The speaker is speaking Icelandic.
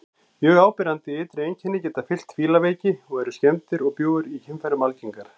Mjög áberandi ytri einkenni geta fylgt fílaveiki og eru skemmdir og bjúgur í kynfærum algengar.